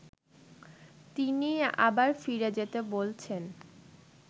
তিনিই আবার ফিরে যেতে বলছেন